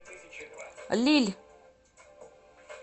лилль